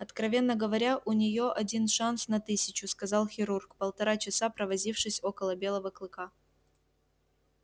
откровенно говоря у неё один шанс на тысячу сказал хирург полтора часа провозившись около белого клыка